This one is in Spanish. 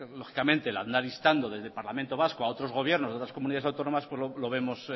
lógicamente el andar instando desde parlamento vasco a otros gobiernos de otras comunidades autónomas lo vemos